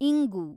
ಇಂಗು